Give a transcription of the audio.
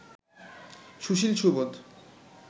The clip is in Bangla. সুশীল সুবোধ